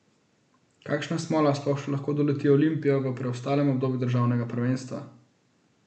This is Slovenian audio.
Kakšna smola sploh še lahko doleti Olimpijo v preostalem obdobju državnega prvenstva?